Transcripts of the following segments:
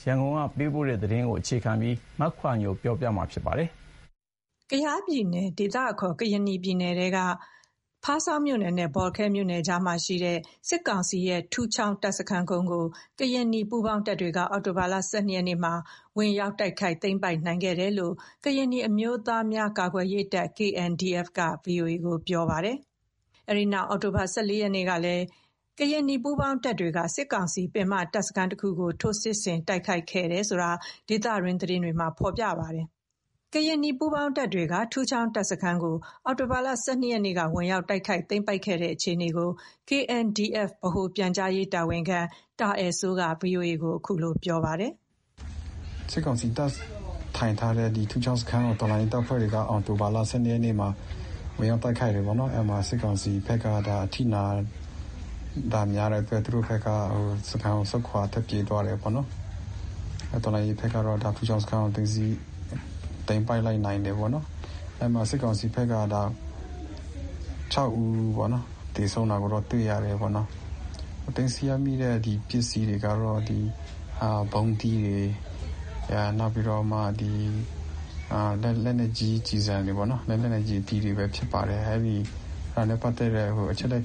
။ ရန်ကုန်ကပေးပို့တဲ့ သတင်းကို မခွာညိုက တင်ပြပေးထားပါတယ်။ ကယားပြည်နယ်၊ ဒေသအခေါ် ကရင်နီပြည်ထဲက ဖားဆောင်းမြို့နယ်နဲ့ ဘောလခဲမြို့နယ်ကြားမှာရှိတဲ့ စစ်ကောင်စီ ထူးချောင်း တပ်စခန်းကုန်းကို ကရင်နီ ပူးပေါင်းတပ်တွေက အောက်တိုဘာ ၁၂ ရက်နေ့မှာ ဝင်ရောက် တိုက်ခိုက် သိမ်းပိုက်နိုင်ခဲ့တယ်လို့ ကရင်နီ အမျိုးသားများ ကာကွယ်ရေးတပ် (KNDF) က ဗွီအိုအေကို ပြောပါတယ်။ အဲ့ဒီနောက် အောက်တိုဘာ ၁၄ ရက်နေ့ကလည်း ကရင်နီ ပူးပေါင်းတပ်တွေက စစ်ကောင်စီ ပင်မတပ်စခန်းကို ထိုးစစ်ဆင် တိုက်ခိုက်တယ်ဆိုတာ ဒေသတွင်း သတင်းတွေမှာ ဖော်ပြပါတယ်။ ကရင်နီ ပူးပေါင်းတပ်တွေက ထူးချောင်းတပ်စခန်းကို အောက်တိုဘာ ၁၂ ရက်နေ့က ဝင်ရောက်တိုက်ခိုက် သိမ်းပိုက်နိုင်ခဲ့တဲ့ အခြေအနေကို KNDF ဗဟိုပြန်ကြားရေးတာဝန်ရှိသူ တာအယ်စိုးက ဗွီအိုအေကို ခုလို ပြောပါတယ်။ ``စစ်ကောင်စီတပ် ထိုင်ထားတဲ့ ထူးချောင်းတပ်စခန်းကို တော်လှန်ရေးတပ်ဖွဲ့တွေက အောက်တိုဘာ ၁၂ ရက်နေ့မှာ ဝင်ရောက် တိုက်ခိုက်တယ်ပေါ့နော်။ အဲ့မှာ စစ်ကောင်စီဘက်က အထိနာတာများတဲ့အထိ သူတို့ဘက်က စခန်းကို ဆုတ်ခွာထွက်ပြေးသွားတယ်ပေါ့နော်။ တော်လှန်ရေးဘက်က ထူးချောင်းစခန်းကို သိမ်းပိုက်လိုက်နိုင်တယ်ပေါ့နော်။ အဲ့မှာ စစ်ကောင်စီဖက်က ၆ ဦး သေဆုံးတာ တွေ့ရတယ်ပေါ့နော်။ သိမ်းဆည်းရမိတဲ့ ပစ္စည်းတွေကတော့ ဗုံးသီးတွေ နောက်ပြီးတော့ လက်နက်ကြီးကျည်ဆံတွေပေါ့နော် လက်နက်ကြီးကျည်တွေဖြစ်တယ်။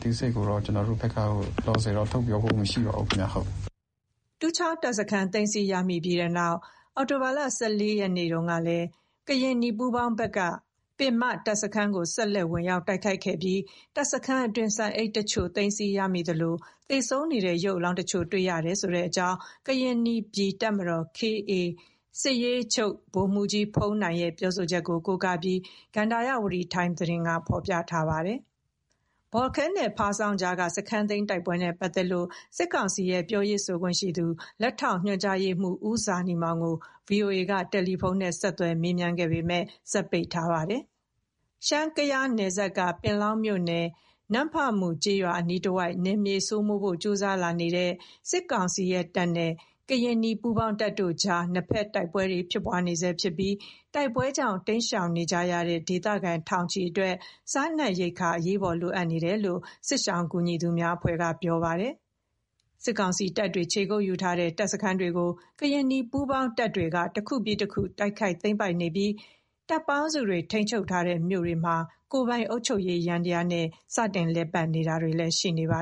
" တူးချောင်းတပ်စခန်း သိမ်းဆည်းရမိပြီး အောက်တိုဘာ ၁၄ ရက် မနေ့ကတုန်းကလည်း ကရင်နီ ပူးပေါင်းဘက်က ပင်မတပ်စခန်းကို ဆက်လက် ဝင်ရောက် တိုက်ခိုက်ခဲ့ပြီး တပ်စခန်းအတွင်း ဆန်အိတ်တချို့ သိမ်းဆည်းရမိသလို သေဆုံးနေတဲ့ ရုပ်လောင်းတချို့ တွေ့ရကြောင်း ကရင်နီပြည် တပ်မတော် (KA) စစ်ရေးချုပ် ဗိုလ်မှူးကြီးဘုန်းနိုင်ရဲ့ ပြောဆိုချက်ကို ကိုးကားပြီး ကန္တာရဝတီတိုင်း (မ်) က သတင်း ဖော်ပြထားပါတယ်။ ဘောလခဲနဲ့ ဖားဆောင်း ကြားက စခန်းသိမ်းတိုက်ပွဲနဲ့ ပတ်သက်လို့ စစ်ကောင်စီရဲ့ ပြောရေးဆိုခွင့်ရှိသူ လက်ထောက်ညွန်ကြားရေးမှူး ဦးဇာနည်မောင်ကို VOA က တယ်လီဖုန်းနဲ့ ဆက်သွယ်မေးမြန်းခဲ့ပေမဲ့ စက်ပိတ်ထားပါတယ်။ ရှမ်း-ကယားနယ်စပ်က ပင်လောင်းမြို့နယ် နမ့်ဖမူ ကျေးရွာ အနီးတဝိုက် နယ်မြေစိုးမိုးဖို့ ကြိုးစားလာနေတဲ့ စစ်ကောင်စီတပ်နဲ့ ကရင်နီ ပူးပေါင်းတပ်တို့အကြား နှစ်ဘက်တိုက်ပွဲ ဖြစ်ပွားနေဆဲဖြစ်ပြီး တိုက်ပွဲကြောင့် တိမ်းရှောင်နေကြရတဲ့ ဒေသခံ ထောင်ချီအတွက် စားနပ်ရိက္ခာတွေ အရေးပေါ် လိုအပ်နေတယ်လို့ စစ်ရှောင် ကူညီရေးအဖွဲ့တွေက ပြောပါတယ်။ စစ်ကောင်စီတပ်တွေ ခြေကုပ်ယူထားတဲ့ တပ်စခန်းတွေကို ကရင်နီ ပူးပေါင်းတွေက တခုပြီးတခု တိုက်ခိုက် သိမ်းပိုက်နေပြီး တပ်ပေါင်းစုတွေ ထိန်းချုပ်ထားတဲ့ မြို့တွေမှာ ကိုယ်ပိုင် အုပ်ချုပ်ရေးယန္တရားနဲ့ စတင် လည်ပတ်တာတွေလည်း ရှိနေပါ